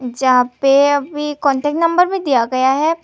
जहां पे अभी कांटेक्ट नंबर भी दिया गया है।